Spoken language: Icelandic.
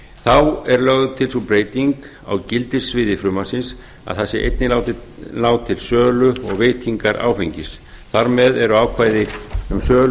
þá er lögð til sú breyting á gildissviði frumvarpsins að það sé einnig látið ná til sölu og veitingar áfengi þar með eru ákvæði um sölu